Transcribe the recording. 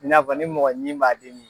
I n'a fɔ n'i mɔgɔ ɲin b'a dimi